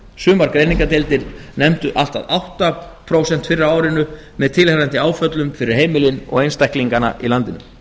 sumar greiningardeildar nefndu allt að átta prósent fyrr á árinu með tilheyrandi áföllum fyrir heimilin og einstaklingana í landinu